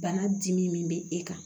Bana dimi min bɛ e kan